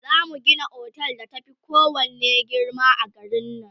zamu Gina otel da ta Fi kowanne girma a garin nan